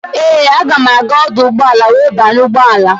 Ee, aga m aga ọdụ ụgbọala wee banye ụgbọala.